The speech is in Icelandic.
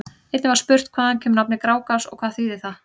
Einnig var spurt: Hvaðan kemur nafnið Grágás og hvað þýðir það?